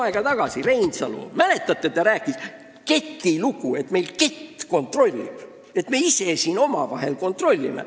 Mäletate, Reinsalu rääkis siinsamas kuu aega tagasi ketilugu: et meil kett kontrollib, et me ise omavahel kontrollime.